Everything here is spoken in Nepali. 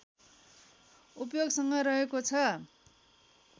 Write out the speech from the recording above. उपयोगसँग रहेको छ